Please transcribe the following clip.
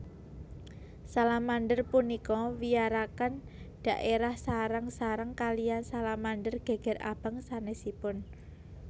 Salamander punika wiyaraken dhaérah sareng sareng kaliyan salamander geger abang sanesipun